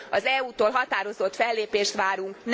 Az EU tól határozott fellépést várunk!